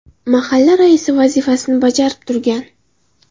mahalla raisi vazifasini bajarib turgan.